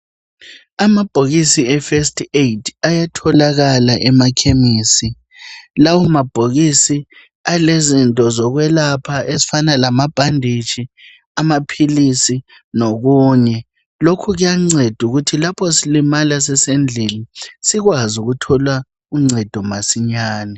Amabhokisi efirst aid ayatholakala emakhemisi. Lawo mabhokisi alezinto zokwelapha ezifana lamabhandishi, amaphilisi lokunye. Lokhu kuyanceda ukuthi lapho silimala sisendlini sikwazi ukuthola uncedo masinyane.